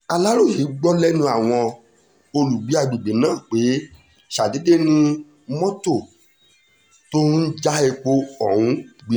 aláròye gbọ́ lẹ́nu àwọn olùgbé àgbègbè náà pé ṣàdédé ni mọ́tò tó ń já epo ọ̀hún gbiná